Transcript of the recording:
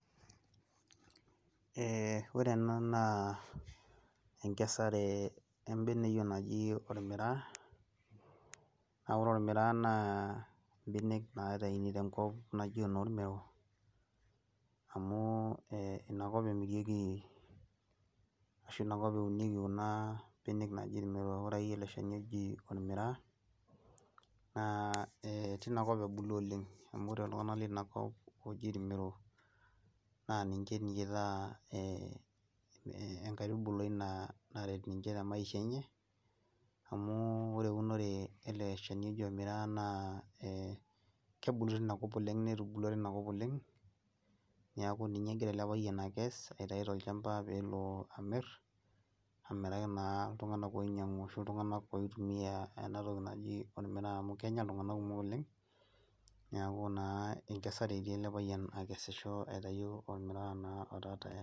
ee ore ena naa enkesare ebeneyio naji olmiraa, naa ore olmiraa naa benek naitayunu tenkop, naji enoolmero. amu ina kop emirieki ashu inakop eunieki kuna benek naji. ore akeyie eke shani oji olmiraa, naa teina kop ebulu, oleng. amu ore iltunganak leina kop oji ilmero, naa ninche ninche itaa ee enkaitubuli naret ninche te maisha enye. amu ore eunore ele shani oji olmiraa naa ee kebulu teina kop oleng. netubulua teina kop. niaku ninye egira ele payian akes. aitayu tolchampa peel amir amiraki naa iltunganak oinyiang'u ashu iltunganak oitumia ena toki, naji olmiraa amu kenya iltunganak kumok oleng, neeku naa enkesare etii ele payian akesisho, aitayu olmiraa naa otaa tayari